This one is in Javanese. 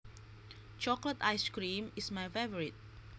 Chocolate ice cream is my favorite